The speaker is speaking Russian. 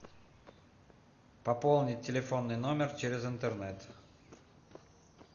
пополнить телефонный номер через интернет